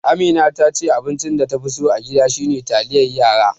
Amina tace abincin da ta fi so a gida shine taliyar yara.